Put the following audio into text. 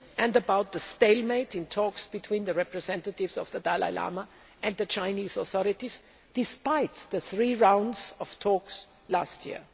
and about the stalemate in talks between the representatives of the Dalai Lama and the Chinese authorities, despite the three rounds of talks last year.